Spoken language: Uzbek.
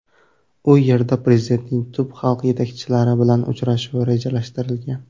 U yerda prezidentning tub xalq yetakchilari bilan uchrashuvi rejalashtirilgan.